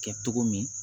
Kɛ cogo min